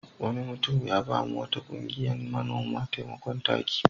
Wani mutum ya ba wa wata ƙungiyar manoma taimakon taki.